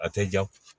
A tɛ jan